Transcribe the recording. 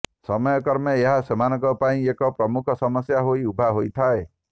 ସମୟକ୍ରମେ ଏହା ସେମାନଙ୍କ ପାଇଁ ଏକ ପ୍ରମୁଖ ସମସ୍ୟା ହୋଇ ଉଭା ହୋଇଥାଏ